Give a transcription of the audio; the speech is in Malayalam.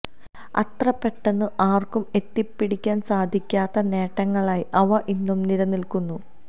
അത്ര പെട്ടെന്ന് ആര്ക്കും എത്തിപ്പിടിക്കാന് സാധിക്കാത്ത നേട്ടങ്ങളായി അവ ഇന്നും നിലനില്ക്കുന്നു